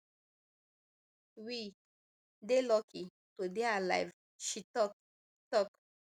we dey lucky to dey alive she tok tok